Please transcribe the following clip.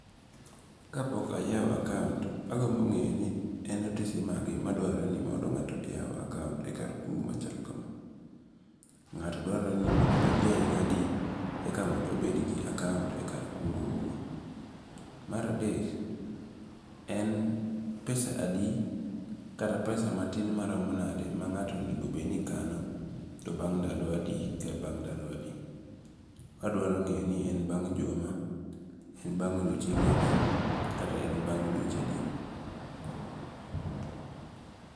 Kapok ayawo account to agombo nge'ni en otese mage maduarore ni mondo nga'to oyaw account e kar kungo' machalo kama. Nga'to dwarore ni mondo obed jahiga adi eka mondo obed gi account e kar kungo'uni, maradek en pesadi kata pesa matin maromo nade ma nga'to onigo bed ni kano to bang' ndalo adi kata ndalo adi, adwaro nge'ni en bang juma?, en bang' odiochienge adi? kata en bang dweche adi?